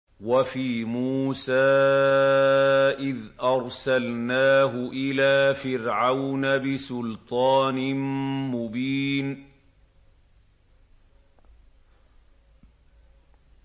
وَفِي مُوسَىٰ إِذْ أَرْسَلْنَاهُ إِلَىٰ فِرْعَوْنَ بِسُلْطَانٍ مُّبِينٍ